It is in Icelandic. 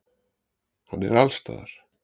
Hann er allsstaðar.